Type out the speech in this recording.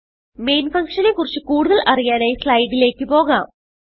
main function നെ കുറിച്ച് കൂടുതൽ അറിയാനായി സ്ലൈഡിലേക്ക് പോകാം